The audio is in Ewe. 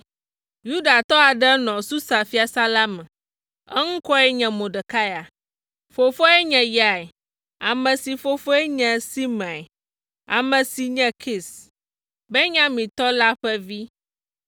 Yudatɔ aɖe nɔ Susa fiasã la me, eŋkɔe nye Mordekai. Fofoae nye Yair, ame si fofoe nye Simei, ame si nye Kis, Benyamintɔ la ƒe vi.